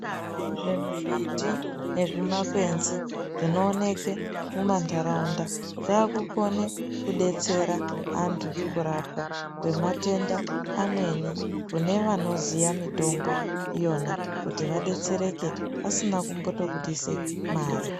Zvimimbiti nezvimakwenzi zvinooneke mumanharaunda zvakukone kudetsera antu kurapwa kwematenda amweni kune vanoziya mitombo yona kuti vadetsereke asina kumbotobudise mare.